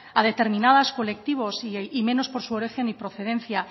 a determinados colectivos y menos por su origen o procedencia